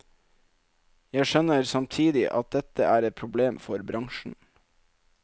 Jeg skjønner samtidig at dette er et problem for bransjen.